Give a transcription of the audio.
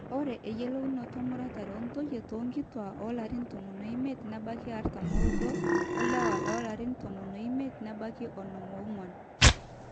ore eyiolounoto emuratare oontoyie toonkituaak oolarin tomon oimiet nebaiki artam ooudo o lewa loolarin tomon oimiet nebaiki onom oong'wan